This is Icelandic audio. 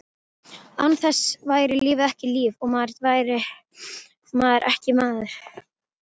Án þess væri lífið ekki líf, og maðurinn ekki maður.